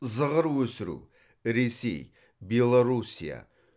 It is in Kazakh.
зығыр өсіру ресей беларуссия